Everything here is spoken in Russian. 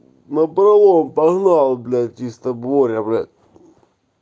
напролом погнал блять чисто боря блять